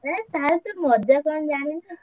ହେ ତାହେଲେ ତୁ ମଜା କଣ ଜାଣିବୁ?